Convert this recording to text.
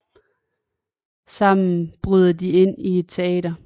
Sammen bryder de ind i et teater